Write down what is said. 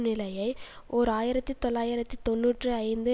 நிலையை ஓர் ஆயிரத்தி தொள்ளாயிரத்து தொன்னூற்றி ஐந்து